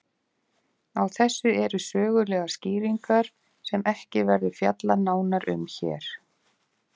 Á þessu eru sögulegar skýringar sem ekki verður fjallað nánar um hér.